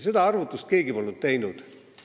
Seda arvutust polnud keegi teinud.